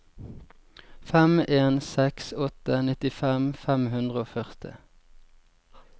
fem en seks åtte nittifem fem hundre og førti